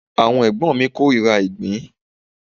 Àwọn ẹ̀gbọ́n mi korira ìgbín.